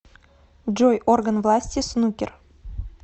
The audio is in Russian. джой орган власти снукер